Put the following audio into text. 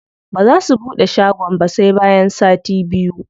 Baza su buɗe shagon ba sai bayan sati biyu.